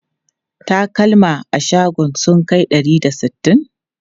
Takalma a shagon sun kai ɗari da sittin?